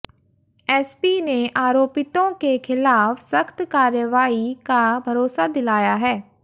SP ने आरोपितों के ख़िलाफ़ सख़्त कार्रवाई का भरोसा दिलाया है